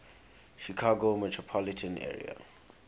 chicago metropolitan area